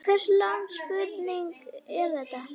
Hvers lags spurning er þetta?